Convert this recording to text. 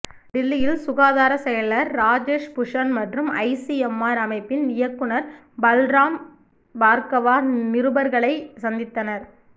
டில்லியில் சுகாதார செயலர் ராஜேஷ் பூஷண் மற்றும் ஐசிஎம்ஆர் அமைப்பின் இயக்குநர் பல்ராம் பார்கவா நிருபர்களை சந்தித்தனர்